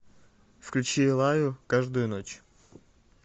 включи эллаю каждую ночь